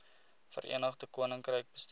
verenigde koninkryk bestuur